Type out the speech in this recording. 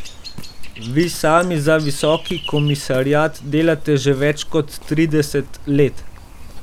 Vi sami za Visoki komisariat delate že več kot trideset let.